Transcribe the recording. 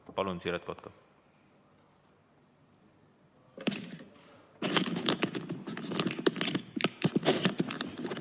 Palun, Siret Kotka!